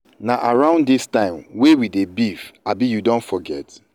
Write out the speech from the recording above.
na around dis time wey we dey beef abi you don forget.